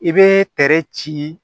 I bɛ ci